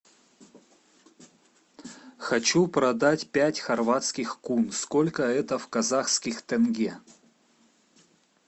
хочу продать пять хорватских кун сколько это в казахских тенге